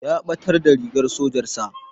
Ya ɓatar da rigar sojar sa